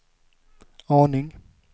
aning